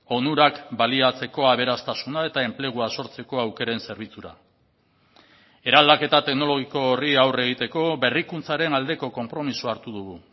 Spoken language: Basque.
onurak baliatzeko aberastasuna eta enplegua sortzeko aukeren zerbitzura eraldaketa teknologiko horri aurre egiteko berrikuntzaren aldeko konpromisoa hartu dugu